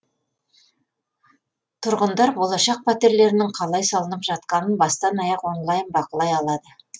тұрғындар болашақ пәтерлерінің қалай салынып жатқанын бастан аяқ онлайн бақылай алады